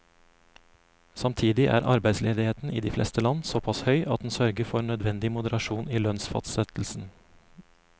Samtidig er arbeidsledigheten i de fleste land såpass høy at den sørger for nødvendig moderasjon i lønnsfastsettelsen.